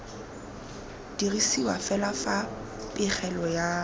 dirisiwa fa fela pegelo ya